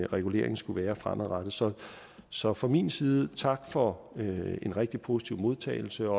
reguleringen skulle være fremadrettet så så fra min side tak for en rigtig positiv modtagelse og